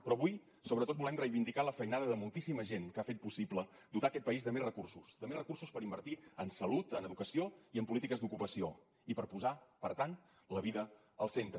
però avui sobretot volem reivindicar la feinada de moltíssima gent que ha fet possible dotar aquest país de més recursos de més recursos per invertir en salut en educació i en polítiques d’ocupació i per posar per tant la vida al centre